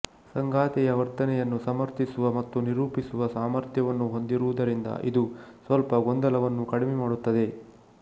ಸಂಗಾತಿಯ ವರ್ತನೆಯನ್ನು ಸಮರ್ಥಿಸುವ ಮತ್ತು ನಿರೂಪಿಸುವ ಸಾಮರ್ಥ್ಯವನ್ನು ಹೊಂದಿರುವುದರಿಂದ ಇದು ಸ್ವಲ್ಪ ಗೊಂದಲವನ್ನು ಕಡಿಮೆ ಮಾಡುತ್ತದೆ